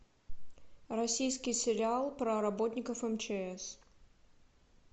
российский сериал про работников мчс